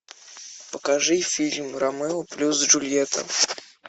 покажи фильм ромео плюс джульетта